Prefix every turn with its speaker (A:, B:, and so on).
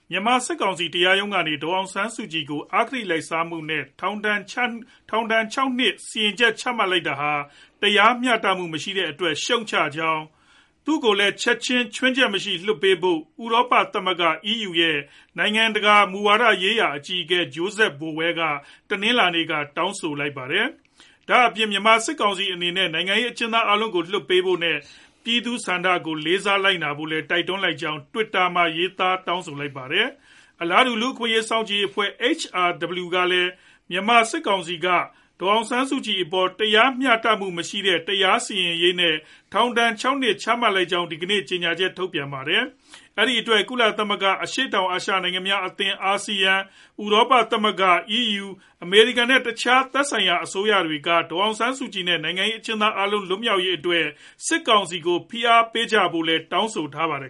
A: မြန်မာစစ်ကောင်စီ တရားရုံးကနေ ဒေါ်အောင်ဆန်းစုကြည် ကို အဂတိလိုက်စားမှုနဲ့ ထောင်ဒဏ် ၆ နှစ် စီရင်ချက် ချမှတ်တာဟာ တရားမျှတမှုမရှိတဲ့အတွက် ရှုတ်ချလိုက်ကြောင်း နဲ့ သူကို ခြွင်းချက်မရှိ ချက်ချင်းလွှတ်ပေးဖို့ ဥရောပ သမဂ္ဂ EU ရဲ့ နိုင်ငံတကာ မူဝါဒရေးရာ အကြီးအကဲ Josep Borrell တနင်္လာနေ့က တောင်းဆိုလိုက်ပါတယ်။ ဒါအပြင် မြန်မာစစ်ကောင်စီအနေနဲ့ နိုင်ငံရေး အကျဉ်းသား အားလုံးကို လွှတ်ပေးဖို့နဲ့ ပြည်သူလူထု့ဆန္ဒကို လေးစားလိုက်နာဖို့လည်း တိုက်တွန်းကြောင်း Twitter မှာ ရေးသားတောင်းဆိုလိုက်ပါတယ်။ အလားတူ လူ့အခွင့်အရေး စောင့်ကြည်ရေးအဖွဲ့ HRW ကလည်း မြန်မာစစ်ကောင်စီက ဒေါ်အောင်ဆန်းစုကြည်အပေါ်မှာ တရားမျှတမှုမရှိတဲ့ တရားစီရင်ရေး နဲ့ ထောင်ဒဏ် ၆ နှစ် ချမှတ်လိုက်ကြောင်း ဒီကနေ့ ကြေညာချက်ထုတ်ပြန်ထားပါတယ်။ အဲဒီအတွက် ကုလသမဂ္ဂ၊ အရှေ့တောင်အာရှနိုင်ငံများအသင်း ASEAN၊ ဥရောပသမဂ္ဂ EU၊ အမေရိကန်နဲ့ တခြား သက်ဆိုင်ရာအစိုးရတွေက ဒေါ်အောင်ဆန်းစုကြည် နဲ့ နိုင်ငံရေးအကျဉ်းသား အားလုံးကို လွှတ်မြောက်ရေးအတွက် စစ်ကောင်စီကို ဖိအားပေးဖို့လည်း တောင်းဆိုထားပါတယ်